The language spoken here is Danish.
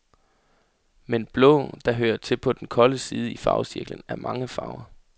Men blå, der hører til på den kolde side i farvecirklen, er mange farver.